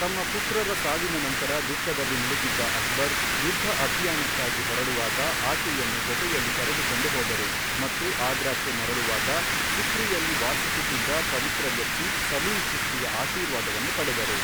ತಮ್ಮ ಪುತ್ರರ ಸಾವಿನ ನಂತರ ದುಃಖದಲ್ಲಿ ಮುಳುಗಿದ್ದ ಅಕ್ಬರ್, ಯುದ್ಧ ಅಭಿಯಾನಕ್ಕಾಗಿ ಹೊರಡುವಾಗ ಆಕೆಯನ್ನು ಜೊತೆಯಲ್ಲಿ ಕರೆದುಕೊಂಡು ಹೋದರು, ಮತ್ತು ಆಗ್ರಾಕ್ಕೆ ಮರಳುವಾಗ, ಸಿಕ್ರಿಯಲ್ಲಿ ವಾಸಿಸುತ್ತಿದ್ದ ಪವಿತ್ರ ವ್ಯಕ್ತಿ ಸಲೀಂ ಚಿಸ್ತಿಯ ಆಶೀರ್ವಾದವನ್ನು ಪಡೆದರು.